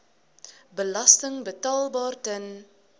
belasting betaalbaar ten